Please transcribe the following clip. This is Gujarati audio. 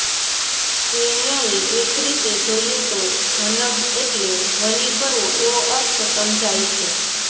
એ ન્યાયે એક રીતે જોઈએ તો ધનમ્ એટલે ધ્વનિ કરવો એવો અર્થ સમજાય છે